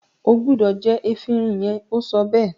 o gbúdọ̀ jẹ “efinrin” yẹn! ó sọ bẹ́ẹ̀.